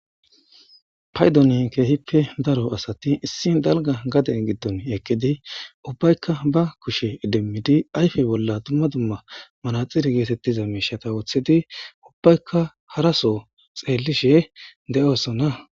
Paydonin keehippe daro asati issi dalga gaden giddon ekkidi ubbaykka ba kushe edemmidi ayfe bolla dumma dumma manaxiri geetettiza meishata wooththedi ubbaykka haraso xeellishe de7oosona